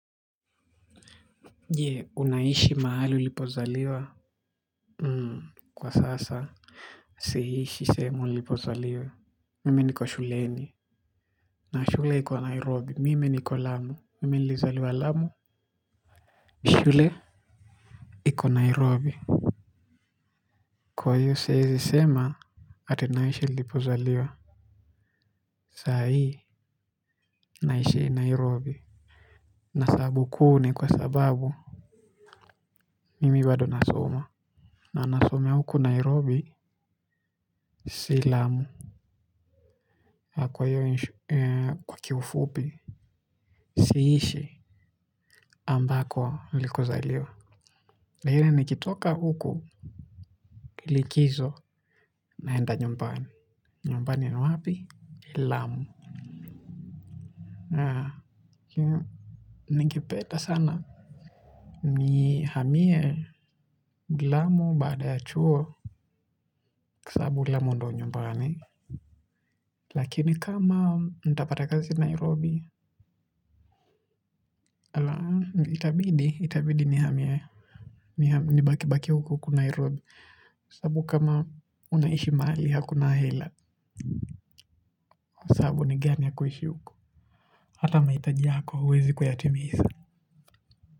Je unaishi mahali ulipozaliwa? Kwa sasa siishi sehemu nilipozaliwa. Mimi niko shuleni. Na shule iko Nairobi mimi niko lamu mimi nilizaliwa lamu. Shule Iko Nairobi. Kwahio siezi sema. Atinaishi nilipozaliwa. Sa hii naishi Nairobi. Na sababu kui ni kwa sababu mimi bado nasoma. Na nasomea huku Nairobi. Si lamu. Kwa hiyo kwa kiufupi, siishi ambako likuzaliwa. La nne nikitoka huku likizo na enda nyumbani. Nyumbani ni wapi? Lamu. Haa. Ningepeda sana. Nihamie lamu baada ya chuo. Kwasababu lamu ndio nyumbani. Lakini kama nitapata kazi Nairobi. Itabidi ni hamie. Ni baki baki huku huku Nairobi. Sababu kama unaishi mahali hakuna hela kwasabu ni gani hakuishi huko. Hata mahitaji yako huwezi kuyatimisa.